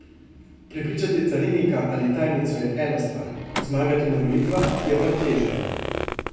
Prepričati carinika ali tajnico je ena stvar, zmagati na volitvah je pa teže.